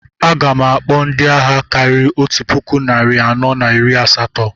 A gam akpọ ndị agha karịrị otu puku narị anọ na iri asatọ